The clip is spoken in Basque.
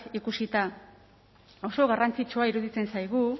ikusita oso garrantzitsua iruditzen zaigu